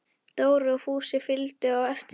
Dóri og Fúsi fylgdu á eftir.